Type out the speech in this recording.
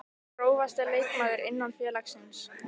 Grófasti leikmaður innan félagsins?